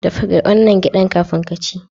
Dafa wannan gyaɗar kafin ka ci.